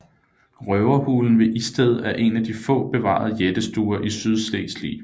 Røverhulen ved Isted er en af de få bevarede jættestuer i Sydslesvig